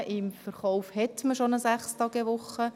im Verkauf hat man bereits eine 6-Tage-Woche.